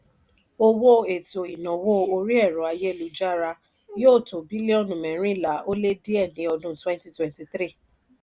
owó ètò ìnáwó orí ẹ̀rọ ayélujára yóò tó bílíọ̀nù mẹ́rìnlá ó lé díẹ̀ ní ọdún twenty twenty three